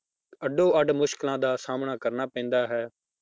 ਅੱਡੋ ਅੱਡ ਮੁਸ਼ਕਲਾਂ ਦਾ ਸਾਹਮਣਾ ਕਰਨਾ ਪੈਂਦਾ ਹੈ।